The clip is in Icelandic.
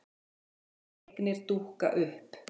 Duldar eignir dúkka upp